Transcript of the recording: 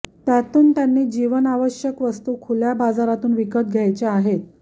त्यातून त्यांनी जीवनावश्यक वस्तू खुल्या बाजारातून विकत घ्यायच्या आहेत